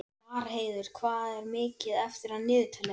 Marheiður, hvað er mikið eftir af niðurteljaranum?